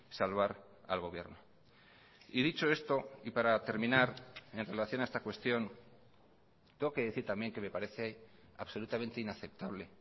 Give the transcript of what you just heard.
salvar al gobierno y dicho esto y para terminar en relación a esta cuestión tengo que decir también que me parece absolutamente inaceptable